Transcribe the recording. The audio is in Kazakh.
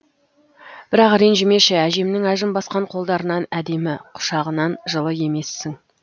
бірақ ренжімеші әжемнің әжім басқан қолдарынан әдемі құшағынан жылы емессің